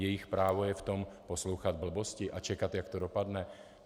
Jejich právo je v tom poslouchat blbosti a čekat, jak to dopadne?